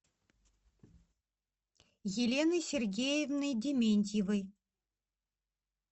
еленой сергеевной дементьевой